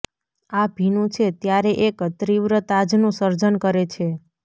આ ભીનું છે ત્યારે એક તીવ્ર તાજનું સર્જન કરે છે